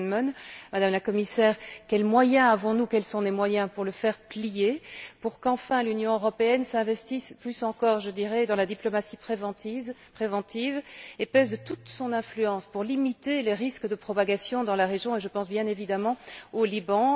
Millán Mon, Madame la Commissaire quels moyens avons nous, quels sont les moyens pour le faire plier, pour qu'enfin l'Union européenne s'investisse plus encore dans la diplomatie préventive et pèse de toute son influence pour limiter les risques de propagation dans la région et je pense, bien évidemment, au Liban?